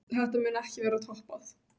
Þetta mun ekki verða toppað.